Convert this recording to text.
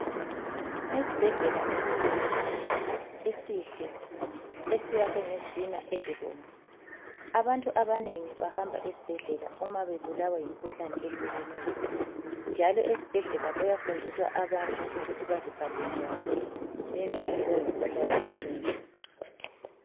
Esibhedlela esikhulu esihle ,esiyakhwe ngezitina ezibomvu. Abantu abanengi bahamba esibhedlela uma bebulawa yimikhuhlane eyehlukeneyo. Njalo ezibhedlela kuyafundiswa abantu ukuthi beziphathe njani bengehlelwa yimikhuhlane eminengi.